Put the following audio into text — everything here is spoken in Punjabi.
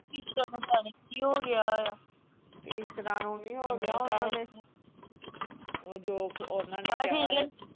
ਕੀ ਹੋ ਗਿਆ ਆ ਇੱਕ ਦੱਮ ਉਹ ਜੋ ਓਹਨਾ ਨੇ .